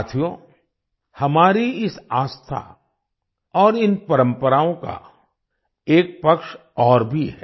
साथियो हमारी इस आस्था और इन परम्पराओं का एक पक्ष और भी है